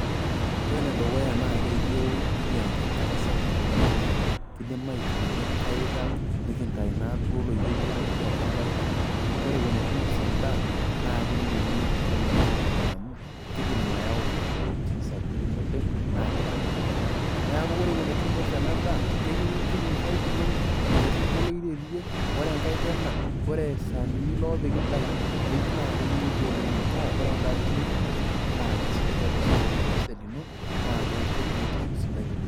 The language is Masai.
Ore enedukuya naa keyieu nekiata enkare sapuk oleng' naa kin'dim akukuyie inkaik ang' naa nekinyayu naaduo oloirerio lotii atua inkaik amuu ore eton itu inos en'daa naa meyieu netii oloiterio torronok amuu keidim ayau imoyiaritin sapukin oleng' naa keidim, neeku ore eton ituinos enadaa keyieu nintuku inkaik inonok metupuku oloiterio ore enkae tena ore isaanini loopiki in'daiki keyieu naa kenyili oleng' metaa ore en'daa siyie ninos naa kesidai tiatua osesen lino naa keisho biotisho sidai oleng' .